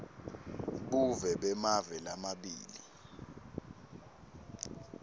buve bemave lamabili